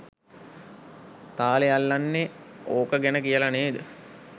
තාලෙ අල්ලන්නෙ ඕක ගැන කියල නේද?